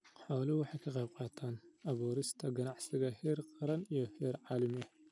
Xooluhu waxay ka qaybqaataan abuurista ganacsiyo heer qaran iyo heer caalami ah.